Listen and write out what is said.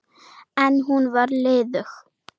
En hún er liðug.